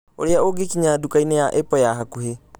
Ũrĩa Ũngĩkinya Nduka-inĩ ya Apple ya Hakuhĩ